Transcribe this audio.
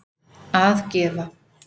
að gefa